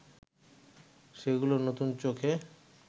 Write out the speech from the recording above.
সেগুলোকে নতুন চোখে